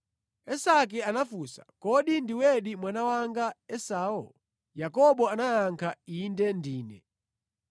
Isake anafunsa, “Kodi ndiwedi mwana wanga Esau?” Yakobo anayankha, “Inde ndine.”